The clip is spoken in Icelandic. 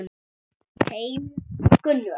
Heimir og Gunnur.